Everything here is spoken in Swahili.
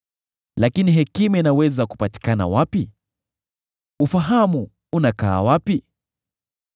“Lakini hekima inaweza kupatikana wapi? Ufahamu unakaa wapi?